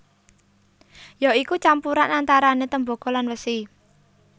Ya iku campuran antarané Tembaga lan Wesi